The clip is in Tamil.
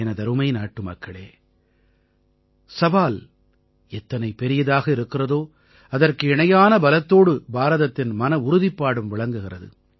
எனதருமை நாட்டுமக்களே சவால் எத்தனை பெரியதாக இருக்கிறதோ அதற்கு இணையான பலத்தோடு பாரதத்தின் மனவுறுதிப்பாடும் விளங்குகிறது